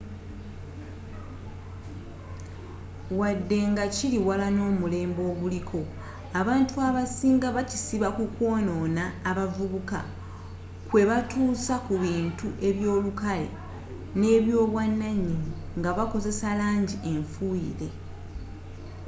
wadde nga kili wala n'omulembe oguliko abantu abasinga bakisiba ku kwonona abavubuka kwebatuusa ku bintu eby'olukale n'ebyobwananyini nga bakozesa langi enfuyire